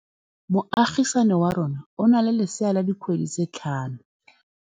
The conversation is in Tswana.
Moagisane wa rona o na le lesea la dikgwedi tse tlhano.